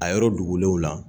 A yɔrɔ dogolenw na.